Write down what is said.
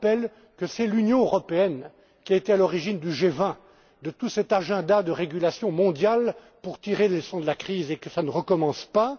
partenaires. Je rappelle que c'est l'Union européenne qui est à l'origine du G20, de tout cet agenda de régulations mondiales pour tirer les leçons de la crise et pour que cela ne recommence